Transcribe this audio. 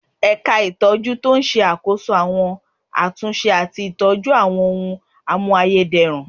Ẹ̀ka itọju ń ṣàkóso àwọn àtúnṣe àti ìtọ́jú àwọn ohùn a mú ayédèrú